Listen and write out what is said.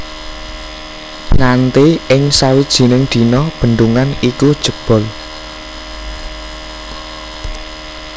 Nganti ing sawijining dina bendungan iku jebol